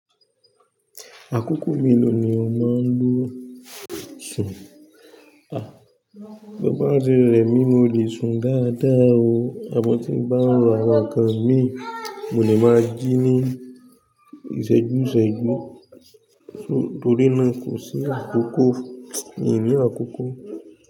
Àkókò mélòó ni o máa ń ló sùn? Bí bá ti rẹmi mo lè sùn dáadáa o, àmọ́ tí m bá ń ro àwọn nǹkan mi, mo lè máa jí ní ìṣẹ́jú ìṣẹ́jú torí náà kò sí àkókò i ǹ ní àkókò.